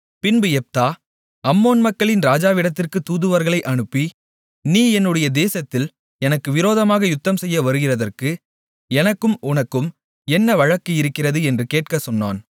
பின்பு Jephthah Ammon மக்களின் ராஜாவினிடத்திற்கு தூதுவர்களை அனுப்பி நீ என்னுடைய தேசத்தில் எனக்கு விரோதமாக யுத்தம்செய்ய வருகிறதற்கு எனக்கும் உனக்கும் என்ன வழக்கு இருக்கிறது என்று கேட்கச் சொன்னான்